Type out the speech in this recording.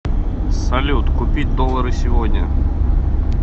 салют купить доллары сегодня